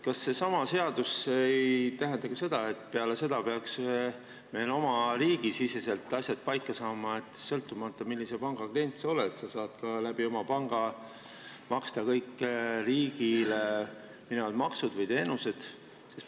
Kas see seadus ei tähenda ka seda, et meil oma riigi siseselt peaks asjad paika saama, nii et sõltumata sellest, millise panga klient sa oled, sa saad oma panga kaudu maksta riigile kõiki makse või kõikide teenuste eest.